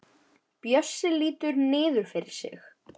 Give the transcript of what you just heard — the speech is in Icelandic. Bjössi lítur niður fyrir sig.